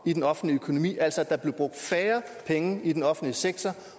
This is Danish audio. i den offentlige økonomi altså om at der blev brugt færre penge i den offentlige sektor